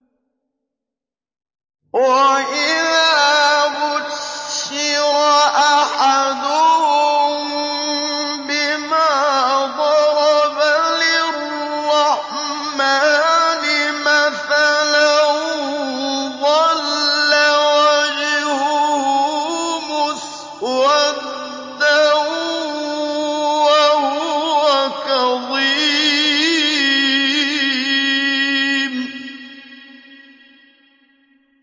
وَإِذَا بُشِّرَ أَحَدُهُم بِمَا ضَرَبَ لِلرَّحْمَٰنِ مَثَلًا ظَلَّ وَجْهُهُ مُسْوَدًّا وَهُوَ كَظِيمٌ